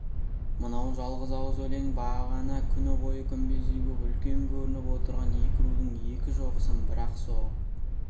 мынау жалғыз ауыз өлең бағана күні бойы күмбездей боп үлкен көрініп отырған екі рудың екі шоқысын бір-ақ соғып